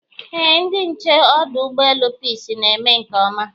Eé, ndị nche ọdụ ụgbọelu Peace na-eme nke ọma